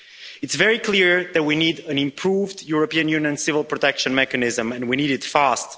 It's very clear that we need an improved European Union Civil Protection Mechanism, and we need it fast.